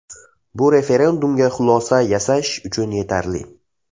Bu referendumga xulosa yasash uchun yetarli.